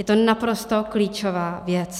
Je to naprosto klíčová věc.